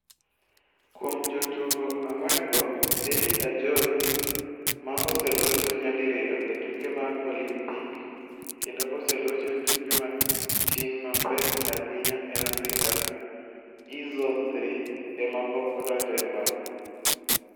Kuom jotugo ang'wen-go, Elly Ajowi, ma oselocho nyadiriyo e tuke mag Olimpik kendo oselocho e tuke mag ting' mapek ahinya e Afrika e Zone Three, ema pok odonjo e pap.